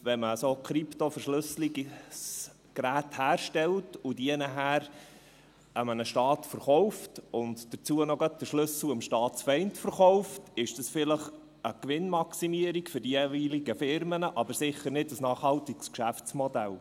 Wenn man solche Krypto-Verschlüsselungsgeräte herstellt, die danach einem Staat verkauft und dazu gleich noch den Schlüssel an den Staatsfeind verkauft, ist das vielleicht eine Gewinnmaximierung für die jeweiligen Firmen, aber sicher nicht ein nachhaltiges Geschäftsmodell.